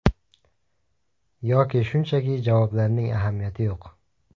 Yoki shunchaki javoblarning ahamiyati yo‘q.